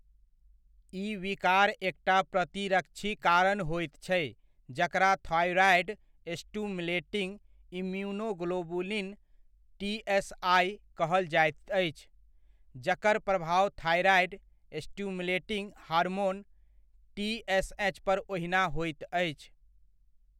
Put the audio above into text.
ई विकार एकटा प्रतिरक्षीक कारण होइत छै जकरा थाइरॉइड स्टिम्युलेटिङ्ग इम्यूनोग्लोबुलिन, टीएसआइ कहल जाइत अछि, जकर प्रभाव थाइरॉइड स्टिम्युलेटिङ्ग हार्मोन, टीएसएच पर ओहिना होइत अछि।